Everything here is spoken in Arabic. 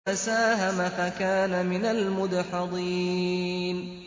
فَسَاهَمَ فَكَانَ مِنَ الْمُدْحَضِينَ